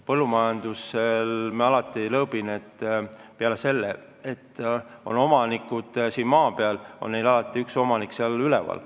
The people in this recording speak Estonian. Ma ütlen lõõpides ikka, et põllumajandusettevõtetel on peale maapealsete omanike üks omanik seal üleval.